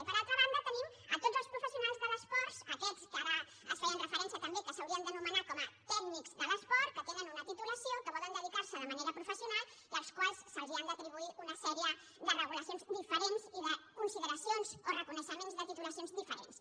i per altra banda tenim tots els professionals de l’esport aquests que ara s’hi feia referència també que s’haurien d’anomenar com a tècnics de l’esport que tenen una titulació que volen dedicar s’hi de manera professional i als quals s’han d’atribuir una sèrie de regulacions diferents i de consideracions o reconeixements de titulacions diferents